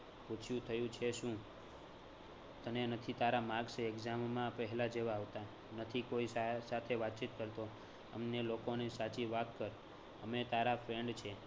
પૂછ્યું થયું છે શું? તને નથી તારા marks exam માં પહેલા જેવા આવતા, નથી કોઈ સા સાથે વાતચીત કરતો, અમને લોકોને સાચી વાત કર, અમે તારા friend છીએ